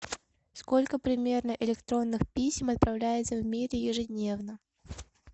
сколько примерно электронных писем отправляется в мире ежедневно